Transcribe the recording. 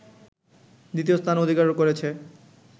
দ্বিতীয় স্থান অধিকার করেছে